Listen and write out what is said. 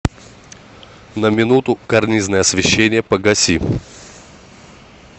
на минуту карнизное освещение погаси